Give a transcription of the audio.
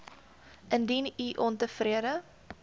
indien u ontevrede